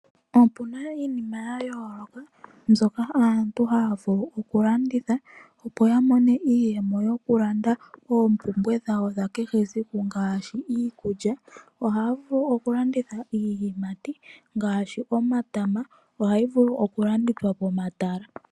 Opuna iinima yayoloka mbyoka aantu haya vulu okulanditha opo yamone iiyemo yokulanda opumbwe dhawo dhakehe esiku ngashi iikulya , ohavulu okulanditha iiyimati ngashi omatama ohayi vulu okulandithwa pomatala.